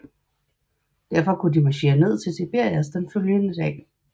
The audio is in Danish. Derfra kunne de marchere ned til Tiberias den følgende dag